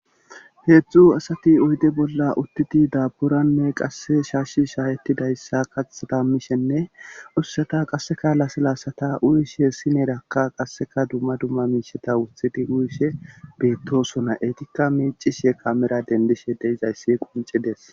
heedzdzu asati oyde bolla uttidi daaburanne qasse shaashshi shaaheti dayssa kathetamishenne ussata qasseka laselaasata uyishe hessineerakka qasseka dumma dumma miisheta wuthidi uyishe beettosona eetikka meicishe kamera dendishe deizayssi quncides